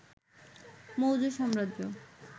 মৌর্য সাম্রাজ্য